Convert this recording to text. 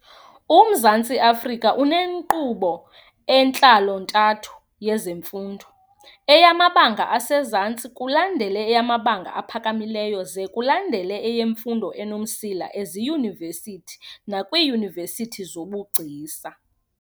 UMzantsi Afrika unenkqubo entlantlo-ntathu yezemfundo, eyamabanga asezantsi, kulandele eyamabanga aphakamileyo ze kulandele eyemfundo enomsila eziyunivesithi nakwiiyunivesithi zobugcisa.